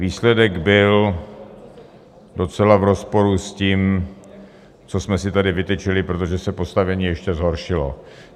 Výsledek byl docela v rozporu s tím, co jsme si tady vytyčili, protože se postavení ještě zhoršilo.